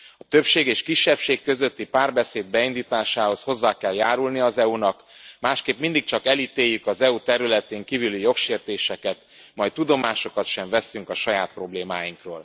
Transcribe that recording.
A többség és kisebbség közötti párbeszéd beindításához hozzá kell járulnia az EU nak, másképp mindig csak elítéljük az EU területén kívüli jogsértéseket, majd tudomást sem veszünk a saját problémáinkról.